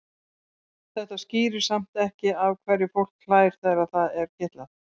Þetta skýrir samt ekki af hverju fólk hlær þegar það er kitlað.